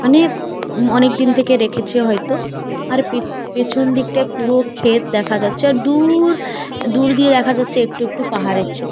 মানে অনেক থেকে রেখেছে হয় তো আর পিছন দিকটায় পুরো ক্ষেত দেখা যাচ্ছে আর দূর উ উ দূর দিয়ে দেখা যাচ্ছে একটু একটু পাহাড়ের ছবি।